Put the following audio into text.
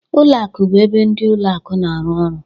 Ụlọ akụ bụ ebe ndị ụlọ akụ na-arụ ọrụ